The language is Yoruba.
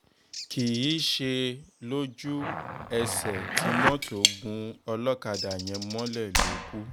kì í ṣe lójú-ẹsẹ̀ tí mọ́tò gún ọlọ́kadà yẹn mọ́lẹ̀ ló kù